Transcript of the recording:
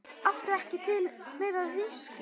Áttu ekki til meira viskí?